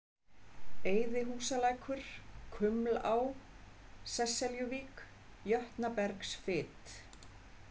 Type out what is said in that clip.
Eyðihúsalækur, Kumlá, Sesseljuvík, Jötnabergsfit